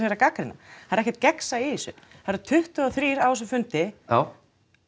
er að gagnrýna það er ekkert gegnsæi í þessu það eru tuttugu og þrjár á þessum fundi já